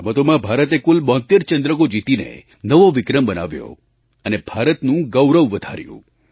આ રમતોમાં ભારતે કુલ 72 ચંદ્રકો જીતીને નવો વિક્રમ બનાવ્યો અને ભારતનું ગૌરવ વધાર્યું